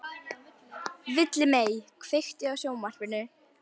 Villimey, kveiktu á sjónvarpinu.